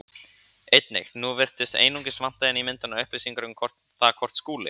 Einnig: Nú virðist einungis vanta inn í myndina upplýsingar um það hvort Skúli